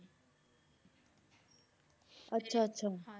ਆਚਾ ਆਚਾ